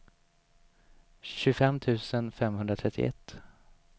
tjugofem tusen femhundratrettioett